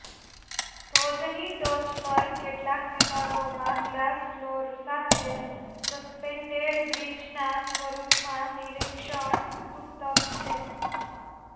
ધોધની ટોચ પર કેટલાક વિભાગોમાં ગ્લાસ ફ્લોર સાથે સસ્પેન્ડેડ બ્રિજના સ્વરૂપમાં નિરીક્ષણ તૂતક છે